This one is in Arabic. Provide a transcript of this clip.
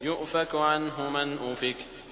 يُؤْفَكُ عَنْهُ مَنْ أُفِكَ